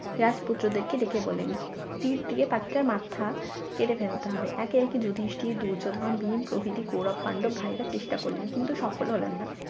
রাজপুত্রদেরকে ডেকে বললেন তীর দিয়ে পাখিটার মাথা কেটে ফেলতে হবে একে একে যুধিষ্ঠির দুর্যোধন ভীম প্রভৃতি গৌরব পাণ্ডব ভাইরা চেষ্টা করলেন কিন্তু সফল হলেন না